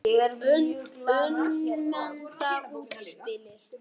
Umdeilt útspil.